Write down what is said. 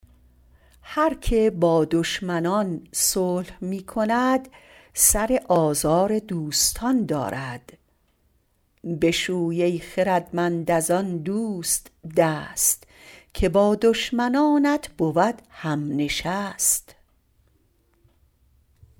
هر که با دشمنان صلح می کند سر آزار دوستان دارد بشوی ای خردمند از آن دوست دست که با دشمنانت بود هم نشست